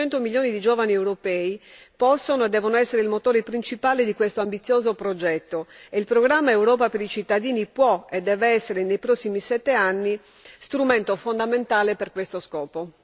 I 100 milioni di giovani europei possono e devono essere il motore principale di questo ambizioso progetto e il programma Europa per i cittadini può e deve essere, nei prossimi sette anni, strumento fondamentale per questo scopo.